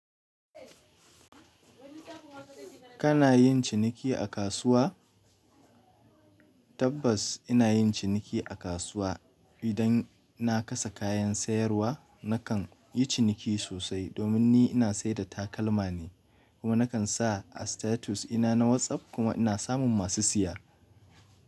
Kana yin ciniki a kasuwa? Tabbas ina yin ciniki a kasuwa idan na kasa kayan sayarwa nakan yi ciniki sosai domin ni ina sayar da takalma ne kuma nakan sa a status ina na WhatsApp kuma ina samun masu siya.